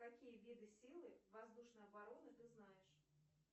какие виды силы воздушной обороны ты знаешь